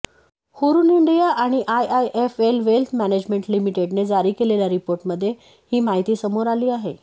Hurun India आणि IIFL wealth management लिमिटेडने जारी केलेल्या रिपोर्टमध्ये ही माहिती समोर आली आहे